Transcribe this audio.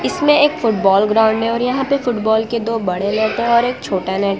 इसमें एक football ground है और यहां पे फुटबॉल के दो बड़े नेट है और एक छोटा नेट --